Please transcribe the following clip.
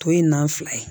Tɔ ye nan fila ye